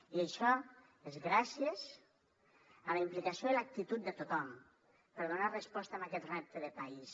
i això és gràcies a la implicació i l’actitud de tothom per donar resposta a aquest repte de país